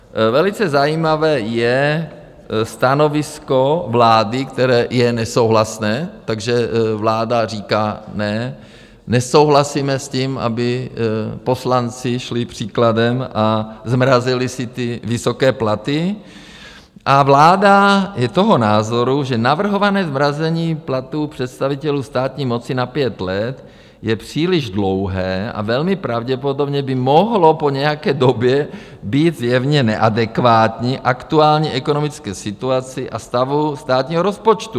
Velice zajímavé je stanovisko vlády, které je nesouhlasné, takže vláda říká: Ne, nesouhlasíme s tím, aby poslanci šli příkladem a zmrazili si své vysoké platy, a vláda je toho názoru, že "navrhované zmrazení platů představitelů státní moci na pět let je příliš dlouhé a velmi pravděpodobně by mohlo po nějaké době být zjevně neadekvátní aktuální ekonomické situaci a stavu státního rozpočtu.